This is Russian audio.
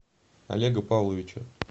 олега павловича